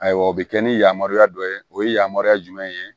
Ayiwa o bɛ kɛ ni yamaruya dɔ ye o ye yamaruya jumɛn ye